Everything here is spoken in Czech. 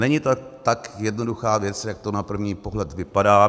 Není to tak jednoduchá věc, jak to na první pohled vypadá.